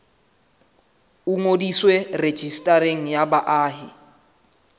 o ngodiswe rejistareng ya baahi